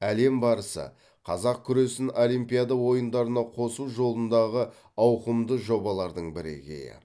әлем барысы қазақ күресін олимпиада ойындарына қосу жолындағы ауқымды жобалардың бірегейі